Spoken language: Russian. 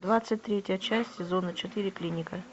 двадцать третья часть сезона четыре клиника